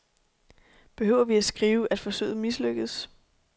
Behøver vi at skrive, at forsøget mislykkedes.